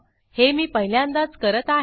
हे मी पहिल्यांदाच करत आहे